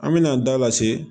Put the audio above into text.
An mɛna an da lase